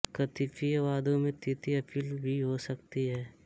कतिपय वादों में तृतीय अपील भी हो सकती है